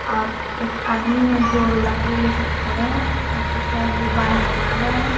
और एक आदमी है जो लकड़ी ले के खड़े हैं और कुछ है जो बाल रहे हैं।